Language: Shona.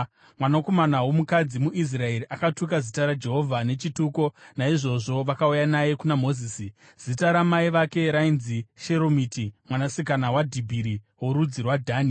Mwanakomana womukadzi muIsraeri akatuka Zita raJehovha nechituko; naizvozvo vakauya naye kuna Mozisi. (Zita ramai vake rainzi Sheromiti, mwanasikana waDhibhiri worudzi rwaDhani.)